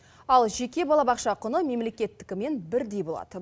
ал жеке балабақша құны мемлекеттікімен бірдей болады